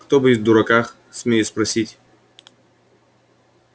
кто будет в дураках смею спросить